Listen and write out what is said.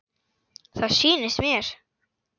Það sýnist mér.